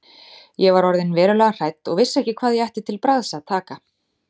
Ég var orðin verulega hrædd og vissi ekki hvað ég ætti til bragðs að taka.